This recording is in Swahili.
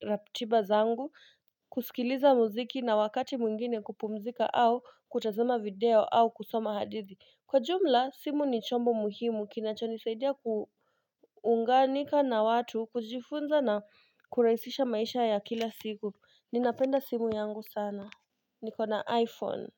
ratiba zangu, kusikiliza muziki na wakati mwingine kupumzika au kutazama video au kusoma hadithi. Kwa jumla, simu ni chombo muhimu kinacho nisaidia ku unganika na watu, kujifunza na kuraihisisha maisha ya kila siku Ninapenda simu yangu sana, niko na iPhone.